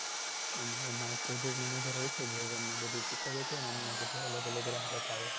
અને એમાય project manager હોય છે એ અમને બધુ શીખવે છે અમને બધુ અલગ અલગ રાહ બતાવે છે